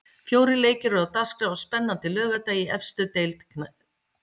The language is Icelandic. Fjórir leikir eru á dagskrá á spennandi laugardegi í efstu deild spænskrar knattspyrnu.